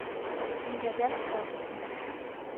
Inga Dalsgaard